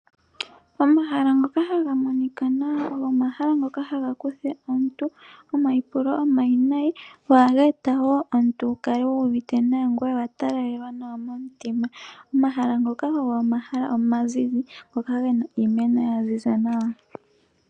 Omahala ngoka haga monika ogo omahala ngoka haga kutha omuntu omaipulo omawinayi , go ohaga eta wo omuntu wukale wuuvite nawa ngoye owatalalelwa nawa momutima. Omahala ngoka ogo omahala omazizi ngoka gena iimeno yaziza nawa.